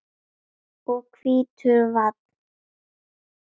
og hvítur vann.